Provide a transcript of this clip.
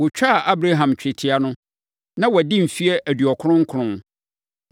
Wɔtwaa Abraham twetia no, na wadi mfeɛ aduɔkron nkron.